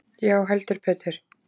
Já heldur betur.